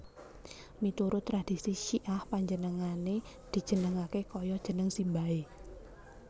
Miturut tradhisi Syi ah panjenengané dijenengaké kaya jeneng simbahé